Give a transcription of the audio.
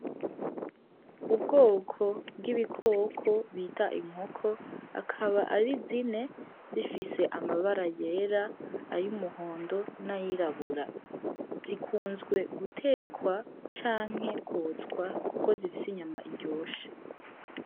Ubwoko bw'ibikoko bita inkoko akaba ari zine zifise amabara yera , ay’umuhondo n'ayirabura zikunzwe gutekwa canke kotswa kuko zifise inyama iryoshe.